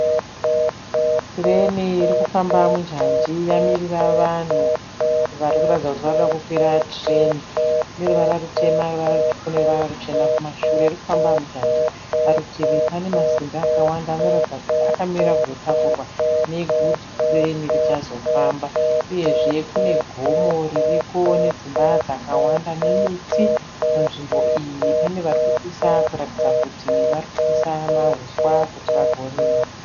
Tireni iri kufamba munjanji yamirira vanhu vari kuratidza kuti vari kuda kukwira tireni. Ine ruvara rutema ine ruvara rutsvuku ine ruvara ruchena kumashure. Iri kufamba munjanji. Parutivi pane masimbi akawanda anoratidza kuti akamirira kuzotakurwa negudzi tireni richazofamba uyezve kune gomo ririko nedzimba dzakawanda nemiti munzvimbo iyi. Pane vari kupisa kuratidza kuti varikupisa mahuswa kuti vazorima.